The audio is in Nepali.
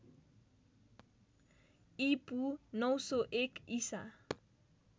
ईपू ९०१ ईसा